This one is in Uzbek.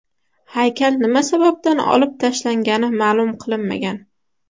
Haykal nima sababdan olib tashlangani ma’lum qilinmagan.